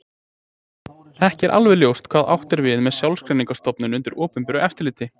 Ekki er alveg ljóst hvað átt er við með sjálfseignarstofnun undir opinberu eftirliti.